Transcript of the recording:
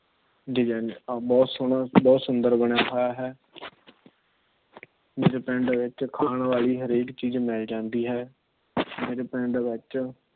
ਬਹੁਤ ਸੋਹਣਾ ਬਹੁਤ ਸੁੰਦਰ ਬਣਿਆ ਹੈ ਹੈ । ਮੇਰੇ ਪਿੰਡ ਵਿੱਚ ਖਾਣ ਵਾਲੀ ਹਰੇਕ ਚੀਜ਼ ਮਿਲ ਜਾਂਦੀ ਹੈ। ਮੇਰੇ ਪਿੰਡ ਵਿੱਚ